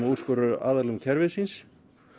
úrskurðaraðilum kerfisins